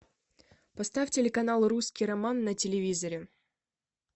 поставь телеканал русский роман на телевизоре